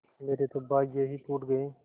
मेरे तो भाग्य ही फूट गये